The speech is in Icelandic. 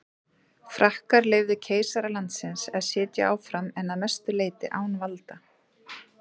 Frakkar leyfðu keisara landsins að sitja áfram en að mestu leyti án valda.